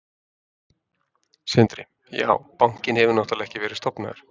Sindri: Já, bankinn hefur náttúrulega ekki verið stofnaður?